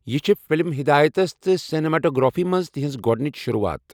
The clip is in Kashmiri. یہِ چھِ فِلم ہِدایَتس تہٕ سنیماٹوگرافی منٛز تہنٛز گۄدٕنٕچ شروعات۔